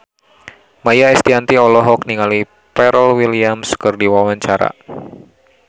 Maia Estianty olohok ningali Pharrell Williams keur diwawancara